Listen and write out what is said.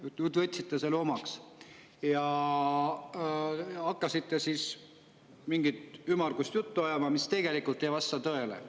Nüüd te võtsite selle omaks, aga hakkasite mingit ümmargust juttu ajama, mis tegelikult ei vasta tõele.